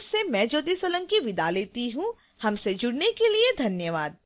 यह स्क्रिप्ट विकास द्वारा अनुवादित है आई आई टी बॉम्बे से मैं ज्योति सोलंकी आपसे विदा लेती हूँ हमसे जुड़ने के लिए धन्यवाद